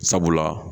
Sabula